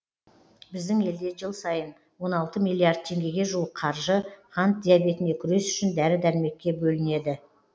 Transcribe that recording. біздің елде жыл сайын он алты миллиард теңгеге жуық қаржы қант диабетіне күрес үшін дәрі дәрмекке бөлінеді